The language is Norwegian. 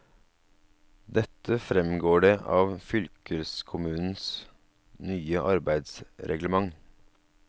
Dette fremgår det av fylkeskommunens nye arbeidsreglement.